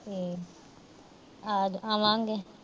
ਆ ਅਹ ਆਵਾਂਗੇ।